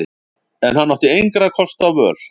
En hann átti engra kosta völ.